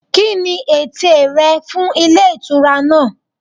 Kíni ète rẹ fún Ilé Ìtura náà